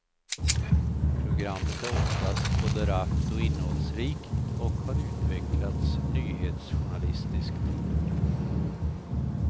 Programmet är oftast både rappt och innehållsrikt och har utvecklats nyhetsjournalistiskt.